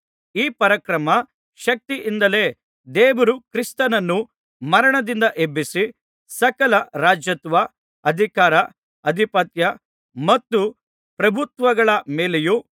ಈ ಪರಾಕ್ರಮ ಶಕ್ತಿಯಿಂದಲೇ ದೇವರು ಕ್ರಿಸ್ತನನ್ನು ಮರಣದಿಂದ ಎಬ್ಬಿಸಿ ಸಕಲ ರಾಜತ್ವ ಅಧಿಕಾರ ಅಧಿಪತ್ಯ ಮತ್ತು ಪ್ರಭುತ್ವಗಳ ಮೇಲೆಯೂ